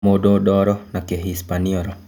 Mũndũ Ndoro- na Kĩ hispaniora.